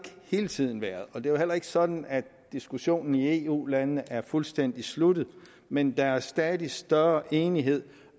hele tiden været er jo heller ikke sådan at diskussionen i eu landene er fuldstændig slut men der er stadig større enighed